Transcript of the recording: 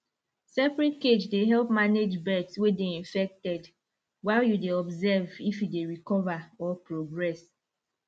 separate cage dey help manage birds way dey infected while you dey observe if e dey recover or progress